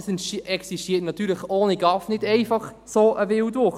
Ohne GAV existiert natürlich nicht einfach so ein Wildwuchs.